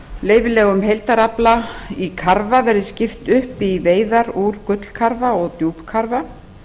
leyfilegum heildarafla í karfa verði skipt upp í veiðar úr gullkarfa og djúpkarfa